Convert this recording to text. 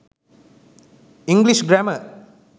english grammar